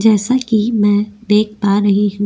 जैसा कि मैं देख पा रही हूं।